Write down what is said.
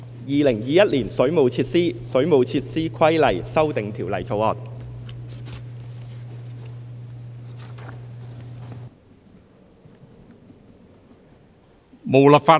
《2021年水務設施條例草案》。